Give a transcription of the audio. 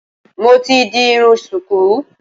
Mo ti di irun ṣùkú